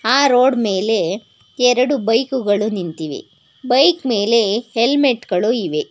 ಆ ರೋಡ್ ಮೇಲೆ ಎರಡು ಬೈಕ್ ಗಳು ನಿಂತಿವೆ ಆ ಬೈಕ್ ಮೇಲೆ ಹೆಲ್ಮೆಟ್ ಗಳು ಇವೆ.